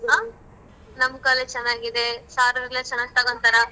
ಆ ನಮ್ college ಚೆನ್ನಾಗಿದೆ ಸಾರೋರೆಲ್ಲ ಚೆನ್ನಾಗ್ ತೊಗೋತಾರ.